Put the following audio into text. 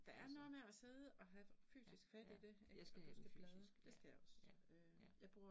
Altså, ja ja, jeg skal have det fysisk ja ja, ja